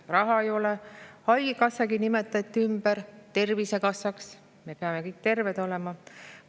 Raha ei ole, Haigekassagi nimetati ümber Tervisekassaks – me peame kõik terved olema.